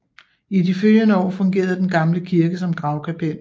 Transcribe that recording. I de følgende år fungerede den gamle kirke som gravkapel